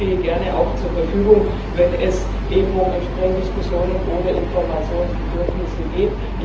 Ich stehe gerne zur Verfügung, wenn es um entsprechende Diskussionen oder Informationsbedürfnisse geht.